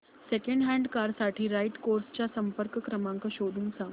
second hand car साठी right cars चा संपर्क क्रमांक शोधून सांग